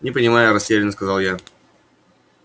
не понимаю растерянно сказал я